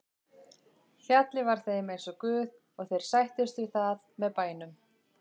Fjallið var þeim eins og guð og þeir sættust við það með bænum.